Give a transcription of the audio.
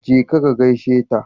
Jeka ka gaishe ta.